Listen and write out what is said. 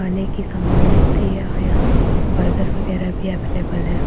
खाने की सामान मिलती है और यहाँ बर्गर वगैरा भी अवेलेबल है।